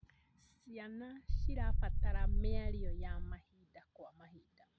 Ciana cirabatara mĩario ya mahinda kwa mahinda.